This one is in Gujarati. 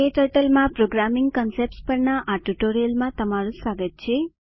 ક્ટર્ટલ માં પ્રોગ્રામિંગ કન્સેપ્ટ્સ પરના આ ટ્યુટોરીયલમાં તમારું સ્વાગત છે